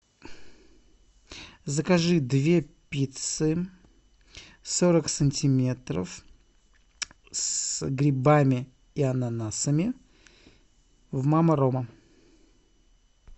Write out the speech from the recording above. закажи две пиццы сорок сантиметров с грибами и ананасами в мама рома